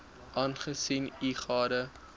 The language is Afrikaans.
aangesien u gade